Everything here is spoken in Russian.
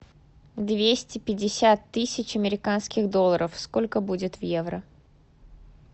двести пятьдесят тысяч американских долларов сколько будет в евро